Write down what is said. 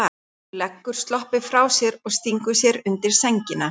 Hún leggur sloppinn frá sér og stingur sér undir sængina.